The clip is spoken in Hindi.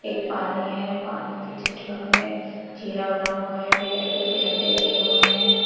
पानी है पानी के जस्ट बगल में चीरा बना हुआ है रेड कलर के डंडे रखे हुए हैं।